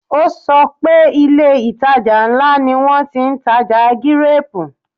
O sọ pé ilé - ìtajà ńlá ni wọn ti ń tà gíréèpù